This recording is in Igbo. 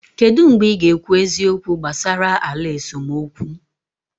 Kedu mgbe ị ga-ekwu eziokwu gbasara ala esemokwu?